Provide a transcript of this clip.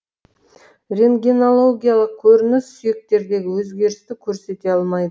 рентгенологиялық көрініс сүйектердегі өзгерісті көрсете алмайды